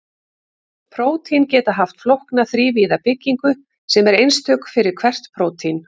prótín geta haft flókna þrívíða byggingu sem er einstök fyrir hvert prótín